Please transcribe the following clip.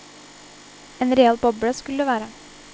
En real boble skulle det være.